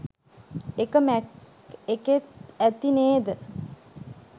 එක මැක් එකෙත් ඇති නේද?